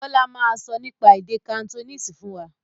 Bọlá máa sọ nípa èdè Cantonese fún wa